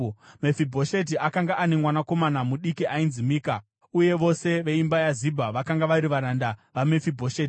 Mefibhosheti akanga ane mwanakomana mudiki ainzi Mika, uye vose veimba yaZibha vakanga vari varanda vaMefibhosheti.